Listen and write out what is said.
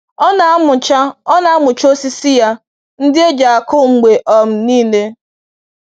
Ọ na‑amụcha Ọ na‑amụcha osisi ya ndị e ji akụ mgbe um niile.